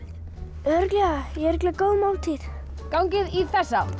örugglega ég er örugglega góð máltíð gangið í þessa átt